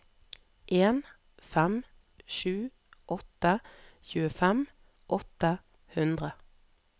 en fem sju åtte tjuefem åtte hundre